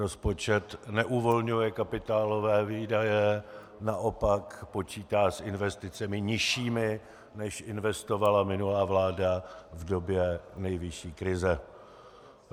Rozpočet neuvolňuje kapitálové výdaje, naopak počítá s investicemi nižšími, než investovala minulá vláda v době největší krize.